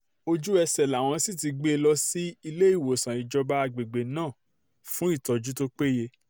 ojú-ẹsẹ̀ làwọn sì ti gbé e lọ sí iléewòsàn ìjọba àgbègbè náà fún ìtọ́jú tó péye